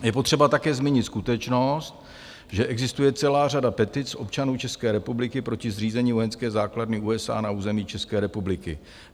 Je potřeba také zmínit skutečnost, že existuje celá řada petic občanů České republiky proti zřízení vojenské základny USA na území České republiky.